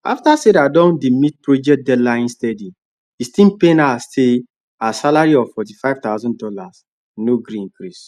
after sarah don dey meet project deadline steady e still pain her say her salary of forty five thousand dollars no gree increase